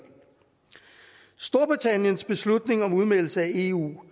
storbritanniens beslutning om udmeldelse af eu